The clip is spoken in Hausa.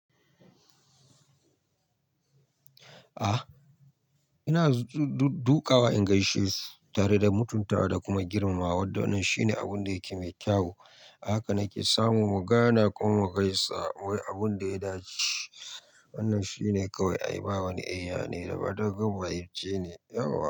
A'a, ina duƙawa in gaishe su tare da mutuntawa da kuma girmamawa. Wannan shine abun da yake mai kyau. A haka na ke samun mugana ko mu gaisa wai abun da ya dace. Wannan shine kawai. Ai, ba wani Eh yane da raba dogn mahaifce ne. Ya wa?